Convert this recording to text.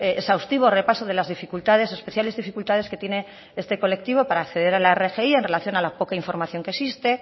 exhaustivo repaso de las dificultades especiales dificultades que tiene este colectivo para acceder a la rgi en relación a la poca información que existe